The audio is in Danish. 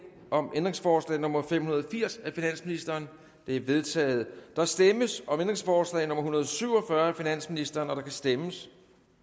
om ændringsforslag nummer fem hundrede og firs af finansministeren det er vedtaget der stemmes om ændringsforslag nummer en hundrede og syv og fyrre af finansministeren der kan stemmes